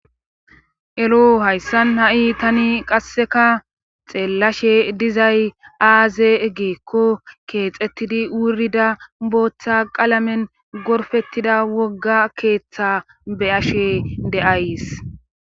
Eloo hayssan ha7i tani qasseka xeellashe dizay aaze egeekko keexettidi wurida booththa qalamen gorfettida wogga keeththa be7ashe de7ays.